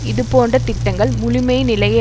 இது போன்ற திட்டங்கள் முழுமை நிலையை